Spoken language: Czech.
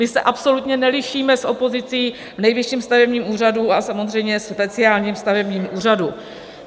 My se absolutně nelišíme s opozicí v Nejvyšším stavebním úřadu a samozřejmě speciálním stavebním úřadu.